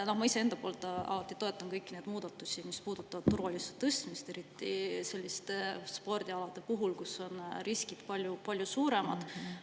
Ma ise alati toetan kõiki muudatusi, mis puudutavad turvalisuse tõstmist, eriti selliste spordialade puhul, kus on riskid palju suuremad.